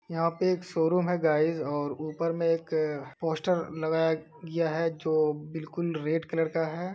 यहाँ पे एक शोरूम है गाइज और ऊपर में एक पोस्टर लगाया गया है जो बिलकुल रेड कलर का है।